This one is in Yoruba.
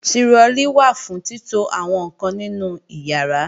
Tirọlí wà fún títo àwọn ǹkan nínú ìyàrá